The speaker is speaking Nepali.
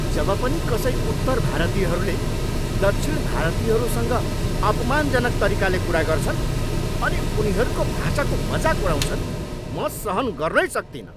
जब पनि कसै उत्तर भारतीयहरूले दक्षिण भारतीयहरूसँग अपमानजनक तरिकाले कुरा गर्छन् अनि उनीहरूको भाषाको मजाक उडाउँछन्, म सहन गर्नै सक्तिनँ।